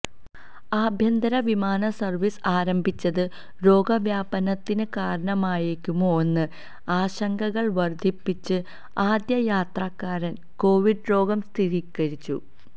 ആഭ്യന്തര വിമാന സർവീസ് ആരംഭിച്ചത് രോഗവ്യാപനത്തിന് കാരണമായേക്കുമോയെന്ന ആശങ്കകൾ വർധിപ്പിച്ച് ആദ്യ യാത്രക്കാരന് കൊവിഡ് രോഗം സ്ഥിരീകരിച്ചു